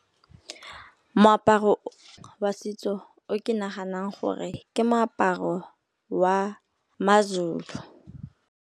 Moaparo wa setso o ke naganang gore ke moaparo wa ma-Zulu.